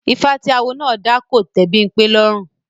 Ifá tí Awo náà dá kò tẹ́ Bímpé lọ́rùn